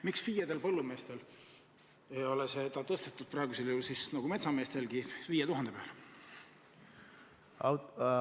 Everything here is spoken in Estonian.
Miks FIE-dest põllumeestel ei ole seda tõstetud nagu metsameestel 5000 euro peale?